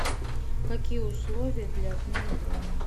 какие условия для отмены брони